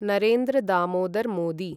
Narendra Damodar Modi